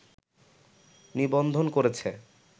নিবন্ধন করেছে